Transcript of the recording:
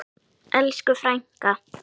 Elsku frænka!